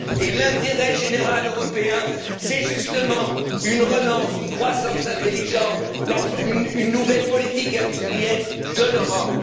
Et l'intérêt général européen, c'est justement une relance, une croissance intelligente, une nouvelle politique industrielle de l'Europe.